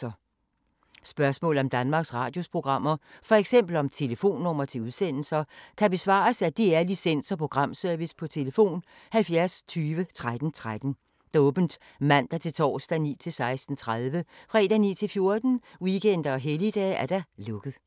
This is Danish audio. Spørgsmål om Danmarks Radios programmer, f.eks. om telefonnumre til udsendelser, kan besvares af DR Licens- og Programservice: tlf. 70 20 13 13, åbent mandag-torsdag 9.00-16.30, fredag 9.00-14.00, weekender og helligdage: lukket.